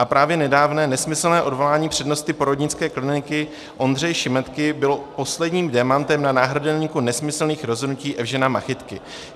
A právě nedávné nesmyslné odvolání přednosty porodnické kliniky Ondřeje Šimetky bylo posledním démantem na náhrdelníku nesmyslných rozhodnutí Evžena Machytky."